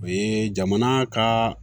O ye jamana ka